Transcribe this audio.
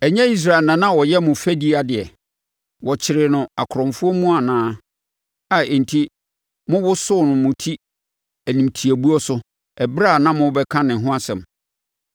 Ɛnyɛ Israel na na ɔyɛ mo fɛdideɛ? Wɔkyeree no akorɔmfoɔ mu anaa, a enti mowoso mo ti animtiabuo so ɛberɛ biara a mobɛka ne ho asɛm?